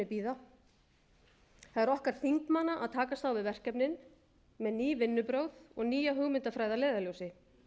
bíða það er okkar þingmanna að takast á við verkefnin með ný vinnubrögð og nýja hugmyndafræði að leiðarljósi